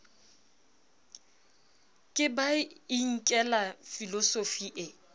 ke ba inkela filosofi e